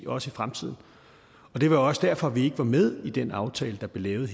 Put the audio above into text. også i fremtiden det var også derfor at vi ikke var med i den aftale der blev lavet